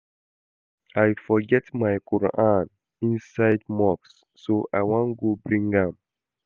I forget my quran inside mosque so I wan go bring am